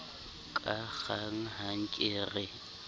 ka kgang ha ke re